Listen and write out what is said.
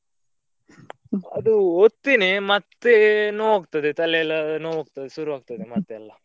ಅದು ಓದ್ತಿನಿ ಮತ್ತೆ ನೋವ್ ಆಗ್ತದೆ ತಲೆಯೆಲ್ಲಾ ನೋವ್ ಆಗ್ತದೆ ಶುರುವಾಗ್ತದೆ ಮತ್ತೆಲ್ಲಾ.